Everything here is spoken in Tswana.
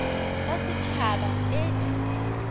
tsa set haba tse di